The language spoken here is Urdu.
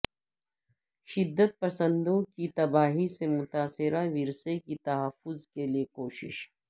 شدت پسندوں کی تباہی سے متاثرہ ورثے کی تحفظ کے لیے کوشش